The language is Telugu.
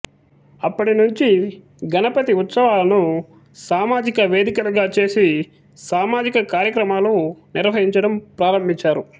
అప్పటి నుంచి గణపతి ఉత్సవాలను సామాజిక వేదికలుగా చేసి సామాజిక కార్యక్రమాలు నిర్వహించడం ప్రారంభించారు